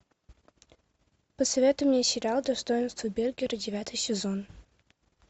посоветуй мне сериал достоинство бергера девятый сезон